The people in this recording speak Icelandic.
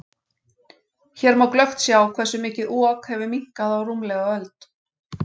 Hér má glöggt sjá hversu mikið Ok hefur minnkað á rúmlega öld.